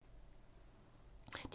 DR1